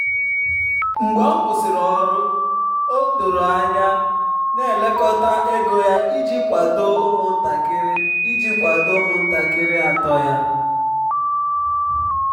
mgbe ọ kwụsịrị ọrụ ya o doro anya na-elekọta ego ya iji kwado ụmụntakịrị iji kwado ụmụntakịrị atọ ya.